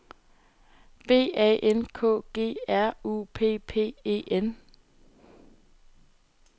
B A N K G R U P P E N